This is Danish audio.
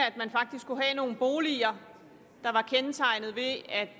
at man faktisk kunne have nogle boliger der var kendetegnet ved at